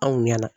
Anw ɲɛna